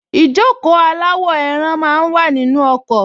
Ìjókòó aláwọ̀-ẹran máa wà nínú ọkọ̀